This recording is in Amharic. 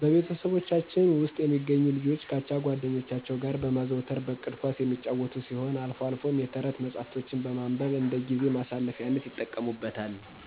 በቤተሰቦቻችን ውስጥ የሚገኙ ልጆች ከአቻ ጓደኞቻቸው ጋር በማዘውተር በእቅድ ኳስ የሚጫወቱ ሲሆን አልፎ አልፎም የተረት መጽሐፎችን ማንበብ እንደጊዜ ማሳለፊያነት ይጠቀሙበታል።